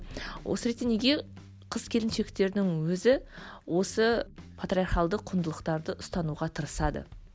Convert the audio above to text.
осы ретте неге қыз келіншектердің өзі осы патриархалдық құндылықтарды ұстануға тырысады